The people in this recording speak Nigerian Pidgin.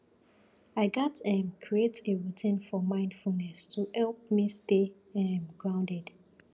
i gats um create a routine for mindfulness to help me stay um grounded